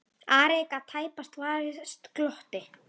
Ari gat tæpast varist glotti.